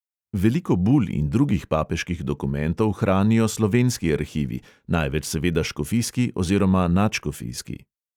Veliko bul in drugih papeških dokumentov hranijo slovenski arhivi, največ seveda škofijski oziroma nadškofijski.